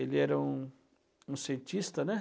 Ele era um um cientista, né?